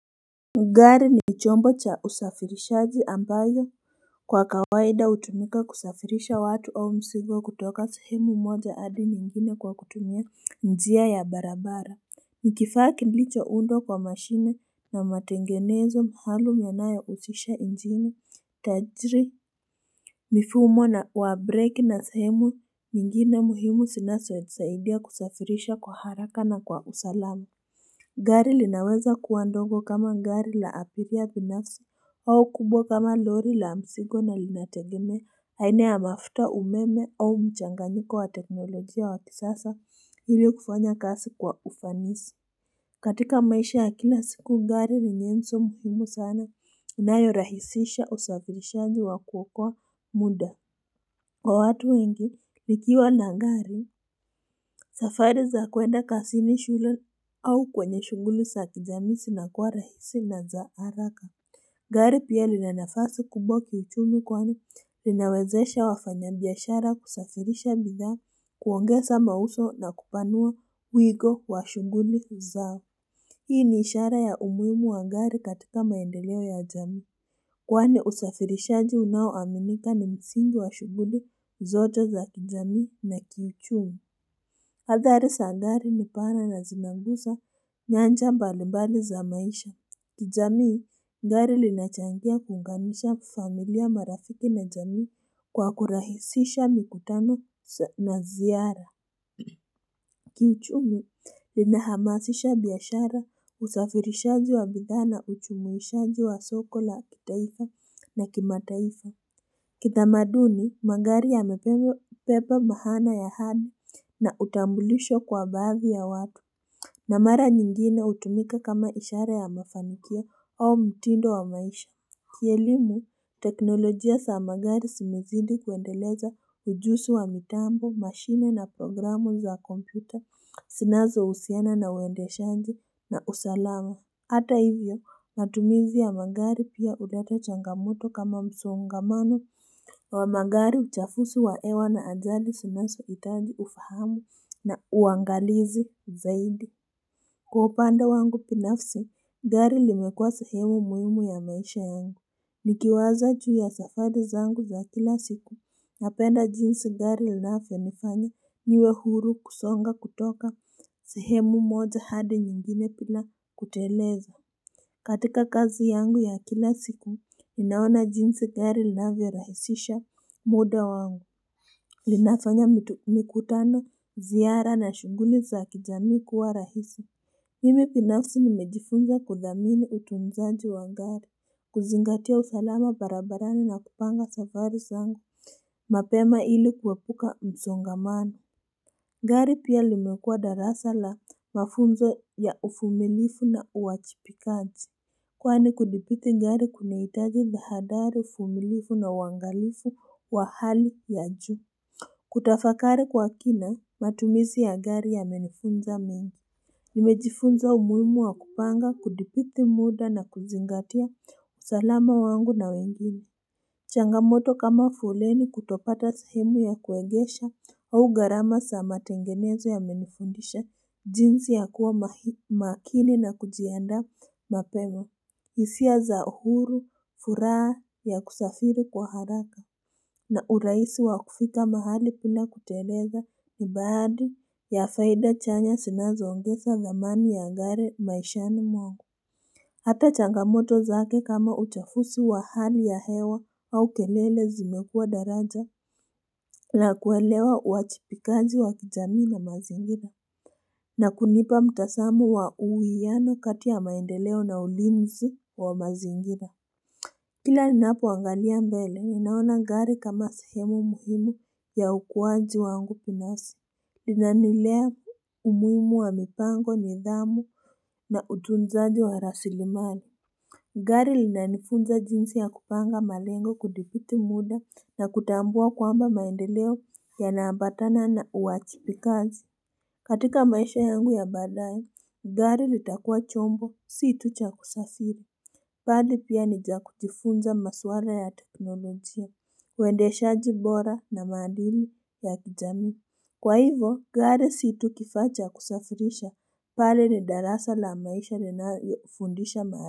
Gari ni chombo cha usafirishaji ambayo kwa kawaida utumika kusafirisha watu au mzigo kutoka sahemu moja hadi nyingine kwa kutumia njia ya barabara Nikifaa kilicha undwa kwa mashine na matengenezo mhalo myanaya utisha njini Tajiri mifumo na warbreak na sehemu nyingine muhimu sinaso nisaidia kusafirisha kwa haraka na kwa usalamu Gari linaweza kuwa ndogo kama ngari la apiria binafsi au kubwa kama lori la msigo na linategemea aina ya mafuta umeme au mchanganyiko wa teknolojia wa kisasa ili kufanya kasi kwa ufanisi katika maisha ya kila siku gari ni nyenso muhimu sana inayorahisisha usafirishaji wa kuokoa muda Kwa watu wengi, nikiwa na gari, safari za kwenda kasini shule au kwenye shunguli sa kijamii sinakuwa rahisi na za haraka Gari pia lina nafasi kubwa kiuchumi kwani, linawezesha wafanya biashara kusafirisha bidhaa, kuongeza mauso na kupanua wigo wa shunguli zao Hii ni ishara ya umuimu wa gari katika maendeleo ya jamii. Kwane usafirisha unao aminika ni msingi wa shuguli zote za kijamii na kiuchumi. Hadhari sa gari ni pana na zinangusa nyanja mbali mbali za maisha. Kijamii, gari linachangia kuungamisha familia marafiki na jamii kwa kurahisisha mikutano na ziara. Kiuchumi, lina hamasisha biashara, usafirishaji wa bidhaa na uchumuishaji wa soko la kitaifa na kimataifa Kitamaduni, magari ya mepepa maana ya hadi na utambulisho kwa baadhi ya watu na mara nyingine utumika kama ishara ya mafanikio au mtindo wa maisha Kielimu, teknolojia sa magari simezidi kuendeleza ujusi wa mitambo, mashine na programu za kompyuta, sinazo usiana na uendeshanji na usalama Hata hivyo matumizi ya magari pia udato changamoto kama msongamano wa magari uchafusi wa hewa na ajali sinazo itaji ufahamu na uangalizi zaidi Kwa upande wangu pinafsi, gari limekua sehemu muhimu ya maisha yangu. Nikiwaza juu ya safari zangu za kila siku, napenda jinsi gari linafyo nifanya niwe huru kusonga kutoka sehemu moja hadi nyingine pila kuteleza. Katika kazi yangu ya kila siku, ninaona jinsi gari linavyo rahisisha muda wangu. Linafanya mikutano ziara na shunguli za kijamii kuwa rahisi. Mime pinafsi nimejifunza kudhamini utunzaji wa gari, kuzingatia usalama barabarani na kupanga safari zangu mapema ili kuepuka msongamano. Gari pia limekua darasa la mafunzo ya ufumilifu na uachipikaji. Kwani kudibiti gari kunaitaji tahadari ufumilifu na uangalifu wa hali ya juu. Kutafakari kwa kina, matumizi ya gari yamenifunza mengi. Nimejifunza umuimu wa kupanga kudipiti muda na kuzingatia usalama wangu na wengine Changamoto kama foleni kutopata sehemu ya kuegesha au garama sa matengenezo yamenifundisha jinsi ya kuwa makini na kujiandaa mapema isia za uhuru, furaa ya kusafiri kwa haraka na uraisi wa kufika mahali pila kuteleza ni baadi ya faida chanya sinazoongesa thamani ya ngari maishani mwangu. Hata changamoto zake kama uchafusi wa hali ya hewa au kelele zimekua daraja na kuelewa uachipikaji wa kijamii na mazingira. Na kunipa mtasamo wa uwiano kati ya maendeleo na ulinzi wa mazingira. Kila ninapo angalia mbele, ninaona gari kama sehemu muhimu ya ukuwaji wangu pinasi. Lina nilea umuimu wa mipango, nidhamu na utunzaji wa rasilimali. Gari linanifunza jinsi ya kupanga malengo kudipiti muda na kutambua kwamba maendeleo yanaambatana na uachipikazi. Katika maisha yangu ya baadaye, gari litakua chombo si tu cha kusasiri Pali pia nija kujifunza maswara ya teknolojia, uendeshaji bora na maandili ya kijamii. Kwa hivyo, gare si tu kifaa cha kusafirisha, pale ni darasa la maisha na naifundisha maare.